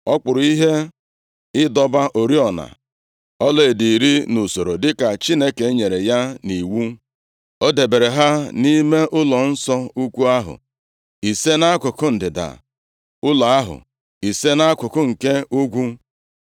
Ọ kpụrụ ihe ịdọba oriọna ọlaedo iri nʼusoro dịka Chineke nyere ya nʼiwu. O debere ha nʼime ụlọnsọ ukwu ahụ, ise nʼakụkụ ndịda ụlọ ahụ, ise nʼakụkụ nke ugwu.